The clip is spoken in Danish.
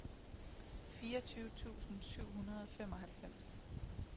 fireogtyve tusind syv hundrede og femoghalvtreds